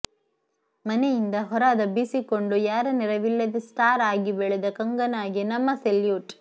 ಮನೆಯಿಂದ ಹೊರ ದಬ್ಬಿಸಿಕೊಂಡು ಯಾರ ನೆರವಿಲ್ಲದೆ ಸ್ಟಾರ್ ಆಗಿ ಬೆಳೆದ ಕಂಗನಾಗೆ ನಮ್ಮ ಸೆಲ್ಯೂಟ್